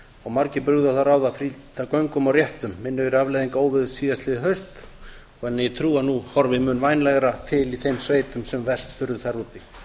og margir brugðu á það ráð að flýta göngum og réttum minnugir afleiðinga óveðurs síðastliðið haust en ég trúi að nú horfi mun vænlegar til í þeim sveitum sem verst urðu þar úti